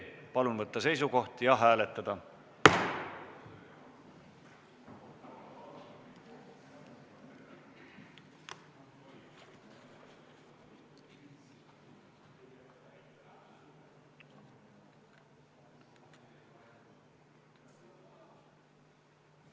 Palun võtta seisukoht ja hääletada!